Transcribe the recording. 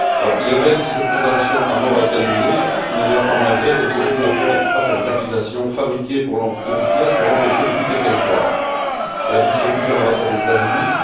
Il est vrai que si cette condamnation à mort a été annulée, il n'en demeure pas moins que Mme Ibrahim continue à faire face à des accusations fabriquées de toutes pièces pour l'empêcher de quitter le territoire. Elle a dû se réfugier à l'ambassade des États Unis.